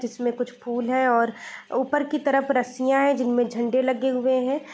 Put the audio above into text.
जिसमे कुछ फूल है और ऊपर की तरफ रस्सियाँ है जिसमे झंडे लगे हुए हैं।